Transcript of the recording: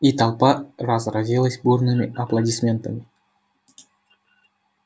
и толпа разразилась бурными аплодисментами